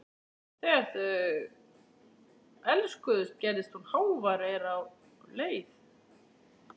Þegar þau elskuðust gerðist hún hávær er á leið.